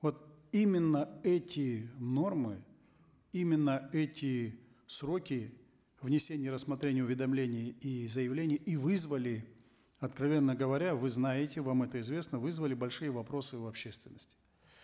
вот именно эти нормы именно эти сроки внесения рассмотрения уведомлений и заявлений и вызвали откровенно говоря вы знаете вам это известно вызвали большие вопросы в общественности